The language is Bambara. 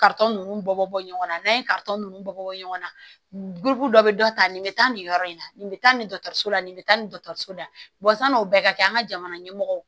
nunnu bɔ bɔ ɲɔgɔn na n'an ye nunnu bɔ ɲɔgɔn na dɔ be dɔ ta nin be taa nin yɔrɔ in na nin be taa nin la nin bɛ taa nin so dayana o bɛɛ ka kɛ an ka jamana ɲɛmɔgɔ